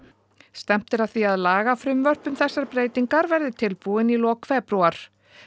stefnt er að því að lagafrumvörp um þessar breytingar verði tilbúin í lok febrúar